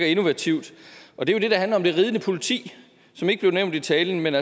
innovativt og det er det der handler om det ridende politi som ikke blev nævnt i talen men